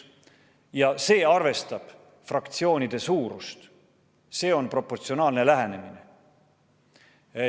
See põhimõte arvestab fraktsioonide suurust, see on proportsionaalne lähenemine.